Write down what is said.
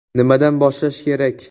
Nimadan boshlash kerak?